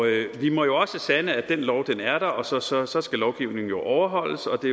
vi må jo også sande at den lov er der og så så skal lovgivningen overholdes og det